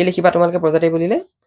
কি লিখিবা তোমালোকে প্ৰজাতি বুলিলে?